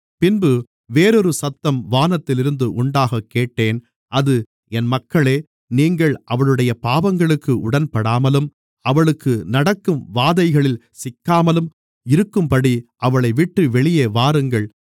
பின்பு வேறொரு சத்தம் வானத்திலிருந்து உண்டாகக் கேட்டேன் அது என் மக்களே நீங்கள் அவளுடைய பாவங்களுக்கு உடன்படாமலும் அவளுக்கு நடக்கும் வாதைகளில் சிக்காமலும் இருக்கும்படி அவளைவிட்டு வெளியே வாருங்கள்